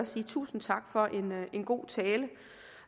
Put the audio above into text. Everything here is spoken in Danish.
sige tusind tak for en god tale